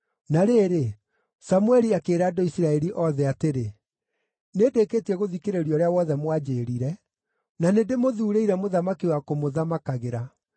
Na rĩrĩ, Samũeli akĩĩra andũ a Isiraeli othe atĩrĩ, “Nĩndĩkĩtie gũthikĩrĩria ũrĩa wothe mwanjĩĩrire, na nĩndĩmũthuurĩire mũthamaki wa kũmũthamakagĩra.